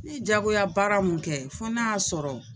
Ne ye diyagoya baara mun kɛ fo n'a y'a sɔrɔ